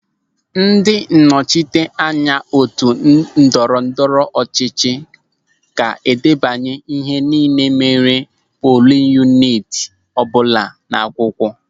Ndị nnọchiteanya otu ndọrọ ndọrọ ọchịchị ga-edebanye ihe nille mere polin yuniti ọbụla n'akwụkwọ.